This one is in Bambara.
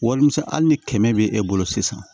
Walimisɛn ali ni kɛmɛ be e bolo sisan